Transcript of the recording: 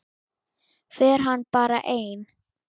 Fer hann bara einn?